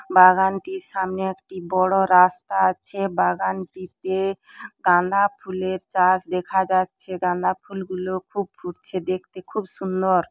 বাগানটির সামনে একটি বড় রাস্তা আছে বাগানটিতে গান্ধা ফুলের চাষ দেখা যাচ্ছে গান্ধা ফুলগুলো খুব ফুটছে দেখতে খুব সুন্দর।